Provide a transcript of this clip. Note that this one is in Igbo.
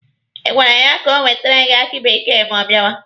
Ị gwara ya ka o wetere gị aki bekee ma ọ bịawa?